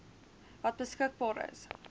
wat beskikbaar is